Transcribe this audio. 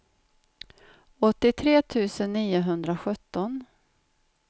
åttiotre tusen niohundrasjutton